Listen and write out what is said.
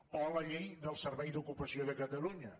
o la llei del servei d’ocupació de catalunya